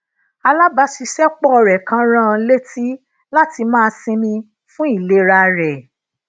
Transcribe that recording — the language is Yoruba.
alabasisepo re kan rán an létí lati máa sinmi fun ilera re